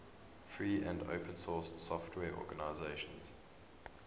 free and open source software organizations